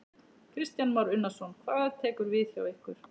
Kristján Már Unnarsson: Hvað tekur við hjá ykkur?